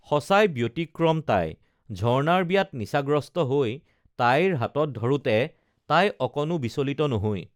সঁচাই ব্যতিক্ৰম তাই ঝৰ্ণাৰ বিয়াত নিচাগ্ৰস্ত হৈ তাইৰ হাতত ধৰোঁতে তাই অকণো বিচলিত নহৈ